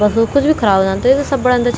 बस मा कुछ भी ख़राब वेजांद त वेथै सब बणादा छि--